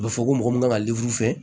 A bɛ fɔ ko mɔgɔ min kan ka fɛ